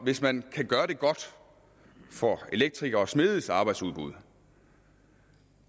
hvis man kan gøre det godt for elektrikeres og smedes arbejdsudbud